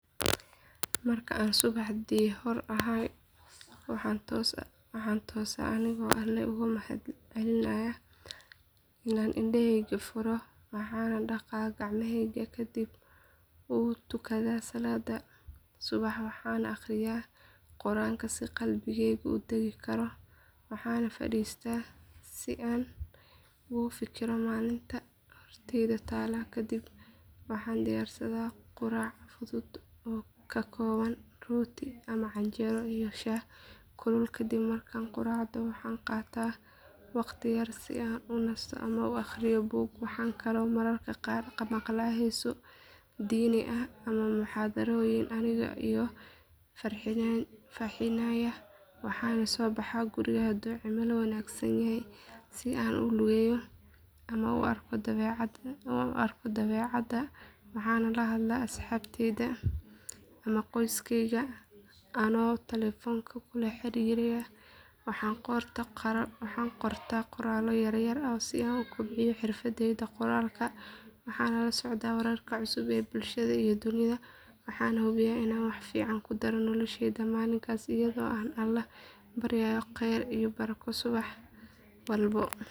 Marka aan subaxdii xor ahay waxaan toosaa anigoo Alle uga mahadcelinaya inaan indhahayga furo waxaan dhaqaa gacmahayga kadibna wuu tukadaa salaadda subax waxaan akhriyaa quraanka si qalbigaygu u dagi karo waxaan fadhiistaa si aan ugu fikiro maalinta horteyda taalla kadib waxaan diyaarsadaa quraac fudud oo ka kooban rooti ama canjeero iyo shaah kulul kadib markaan quraacdo waxaan qaataa waqti yar si aan u nasto ama u akhriyo buug waxaan kaloo mararka qaar maqlaa heeso diini ah ama muxaadarooyin aniga iga farxinaya waxaan soo baxaa guriga hadduu cimilo wanaagsanyahay si aan u lugeeyo ama u arko dabeecadda waxaan la hadlaa asxaabteyda ama qoyskayga anoo telefoonka kula xiriiraya waxaan qortaa qoraallo yar yar si aan u kobciyo xirfadayda qoraalka waxaan la socdaa wararka cusub ee bulshada iyo dunida waxaana hubiyaa inaan wax fiican ku daro nolosheyda maalinkaas iyadoo aan Alle ka baryayo kheyr iyo barako subax walba.